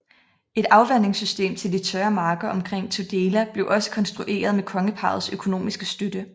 Et afvandingssystem til de tørre marker omkring Tudela blev også konstrueret med kongeparrets økonomiske støtte